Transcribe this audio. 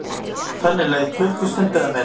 Þannig leið klukkustund eða meira.